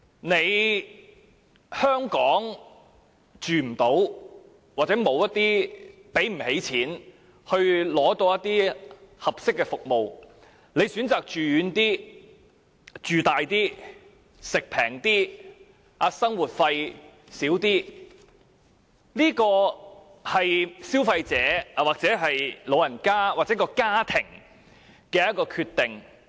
如果長者無法在香港安老或無法負擔香港的安老服務，因而選擇到偏遠、面積大、飲食便宜、生活費少的地方居住，這是消費者或長者及他們的家庭的決定。